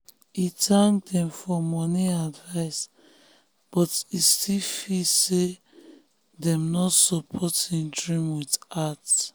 e thank dem for money advice but e still feel say dem no support no support him dream with heart.